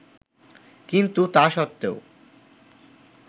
কিন্তু তা সত্বেও